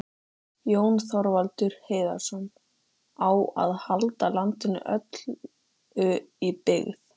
Jón Þorvaldur Heiðarsson,: Á að halda landinu öllu í byggð?